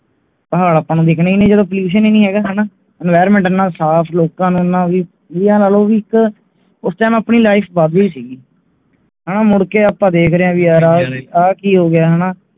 ਪਹਾੜ ਆਪਣਾ ਨੂੰ ਵਿਖਣਾ ਹੀ ਨਹੀਂ Pollution ਹੀ ਨਹੀਂ ਹੈਗਾ ਹਾਣਾ Enviroment ਇਹਨਾਂ ਸਾਫ ਲੋਕ ਵੀ ਨੂੰ ਇਹ ਲਾ ਲੋ ਕਿ ਉਸ Time ਆਪਣਾ Life ਵਾਵੀ ਸੀਗੀ ਹਨ ਆਪ ਮੁੜ ਕੇ ਵੇਖ ਰਹੇ ਆ ਕੇ ਹੋਗਿਆ